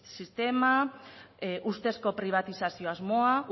sistema ustezko pribatizazio asmoa